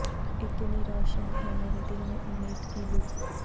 اتنی روشن ہے مرے دل میں امید کی لو